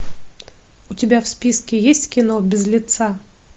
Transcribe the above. у тебя в списке есть кино без лица